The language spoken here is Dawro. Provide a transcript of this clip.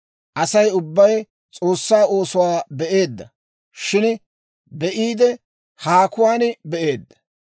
Asay ubbay S'oossaa oosuwaa be'eedda; shin be'iide, haakuwaan be'eedda.